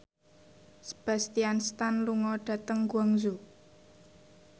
Sebastian Stan lunga dhateng Guangzhou